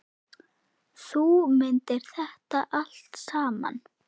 Þú mundir þetta allt saman.